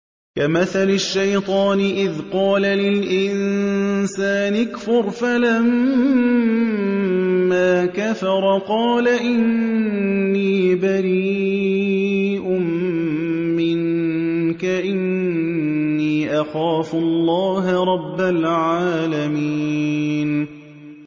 كَمَثَلِ الشَّيْطَانِ إِذْ قَالَ لِلْإِنسَانِ اكْفُرْ فَلَمَّا كَفَرَ قَالَ إِنِّي بَرِيءٌ مِّنكَ إِنِّي أَخَافُ اللَّهَ رَبَّ الْعَالَمِينَ